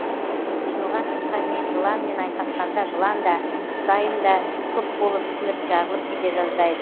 жиылған жұртқа мен жыланмен айқасқанда жылан да құсайын да күп болып ісініп жарылып кете жаздайды